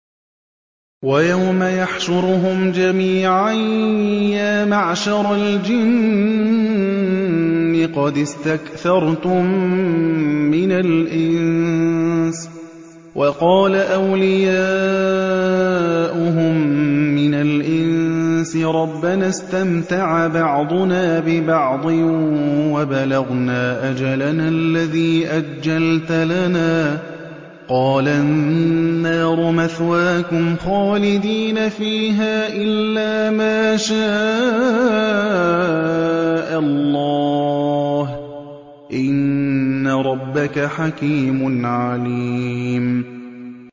وَيَوْمَ يَحْشُرُهُمْ جَمِيعًا يَا مَعْشَرَ الْجِنِّ قَدِ اسْتَكْثَرْتُم مِّنَ الْإِنسِ ۖ وَقَالَ أَوْلِيَاؤُهُم مِّنَ الْإِنسِ رَبَّنَا اسْتَمْتَعَ بَعْضُنَا بِبَعْضٍ وَبَلَغْنَا أَجَلَنَا الَّذِي أَجَّلْتَ لَنَا ۚ قَالَ النَّارُ مَثْوَاكُمْ خَالِدِينَ فِيهَا إِلَّا مَا شَاءَ اللَّهُ ۗ إِنَّ رَبَّكَ حَكِيمٌ عَلِيمٌ